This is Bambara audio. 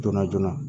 Joona joonana